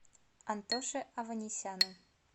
антоше аванесяну